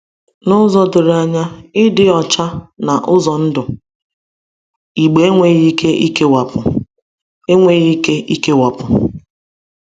N’ụzọ doro anya, ịdị ọcha na ụzọ ndụ Igbo enweghị ike ịkewapụ. enweghị ike ịkewapụ.